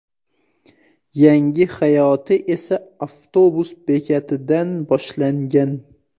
Yangi hayoti esa avtobus bekatidan boshlangan.